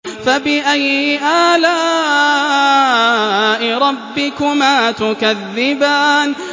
فَبِأَيِّ آلَاءِ رَبِّكُمَا تُكَذِّبَانِ